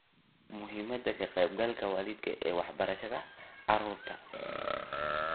Muhiimadda Ka-qaybgalka Waalidka ee Waxbarashada Carruurta